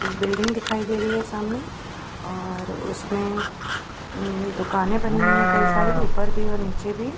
एक बिल्डिंग दिखाई दे रही है सामने और उसमें उम दुकाने बनी हुई है कई सारी ऊपर भी और नीचे भी।